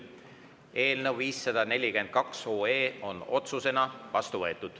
Eelnõu 542 on otsusena vastu võetud.